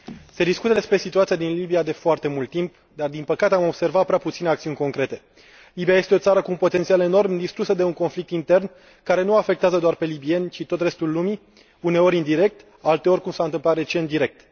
Domnule Președinte, se discută despre situația din Libia de foarte mult timp, dar, din păcate, am observat prea puține acțiuni concrete. Libia este o țară cu un potențial enorm, distrusă de un conflict intern, care nu îi afectează doar pe libieni, ci tot restul lumii, uneori indirect, alteori, cum s a întâmplat recent, direct.